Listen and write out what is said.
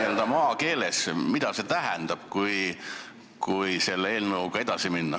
Seleta nüüd maakeeles, mida see tähendab, kui selle eelnõuga edasi minna.